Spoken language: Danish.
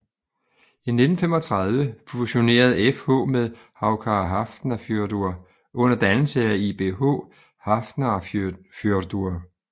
I 1935 fusionerede FH med Haukar Hafnarfjörður under dannelse af ÍBH Hafnarfjörður